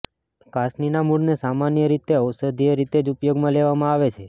કાસનીના મૂળને સામાન્ય રીતે ઔષધીય રીતે જ ઉપયોગમાં લેવામાં આવે છે